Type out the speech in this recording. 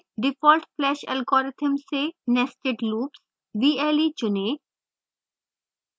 default flash algorithm से nested loops vle चुनें